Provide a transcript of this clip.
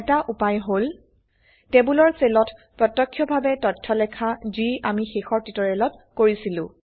এটা উপায় হল টেবোলৰ সেলত প্ৰত্যক্ষভাবে তথ্য লেখা যি আমি শেষৰ টিউটোৰিয়েলত কৰিছিলো